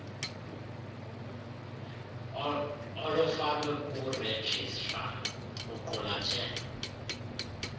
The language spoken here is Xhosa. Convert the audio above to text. olufakwe kurejistra luqulathe